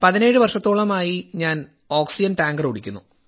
17 വർഷത്തോളമായി ഞാൻ oxygen tanker ഓടിക്കുന്നു